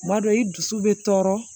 Tuma dɔ i dusu bɛ tɔɔrɔ